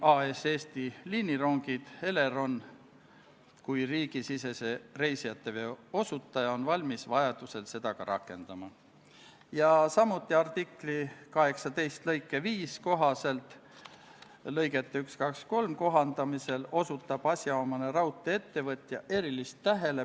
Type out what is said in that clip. Austatud Riigikogu, panen hääletusele Vabariigi Valitsuse esitatud Riigikogu otsuse "Kaitseväe kasutamise tähtaja pikendamine Eesti riigi rahvusvaheliste kohustuste täitmisel rahvusvahelisel sõjalisel operatsioonil Inherent Resolve" eelnõu 66.